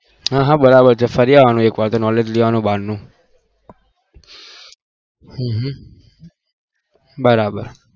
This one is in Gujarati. હા હા બરાબર છે ફરી આવાનું બાર નું હમમ હમમ બરાબર